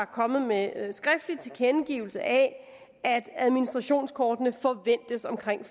kommet med en skriftlig tilkendegivelse af at administrationskortene forventes omkring